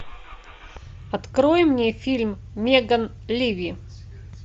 открой мне фильм меган ливи